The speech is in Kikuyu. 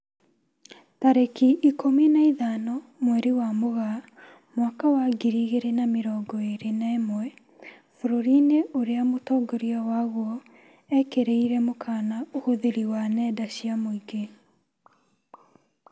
Tarĩki ikũmi na ithano mweri wa Mũgaa mwaka wa ngiri igĩrĩ na mĩrongo ĩrĩ na ĩmwe, bũrũri-inĩ ũrĩa mũtongoria waguo ekĩrirĩre mũkana ũhũthĩri wa nenda cia mũingĩ